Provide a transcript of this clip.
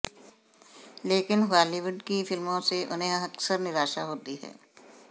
लेकिन हालीवुड की फिल्मों से उन्हें अक्सर निराशा होती है